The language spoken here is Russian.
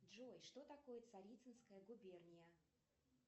джой что такое царицынская губерния